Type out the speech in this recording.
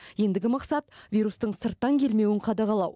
ендігі мақсат вирустың сырттан келмеуін қадағалау